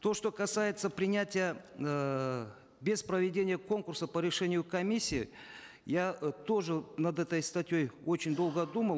то что касается принятия эээ без проведения конкурса по решению комиссии я э тоже над этой статьей очень долго думал